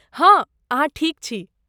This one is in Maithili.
हँ, अहाँ ठीक छी।